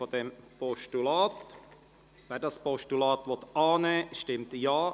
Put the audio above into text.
Wer dieses Postulat annehmen will, stimmt Ja,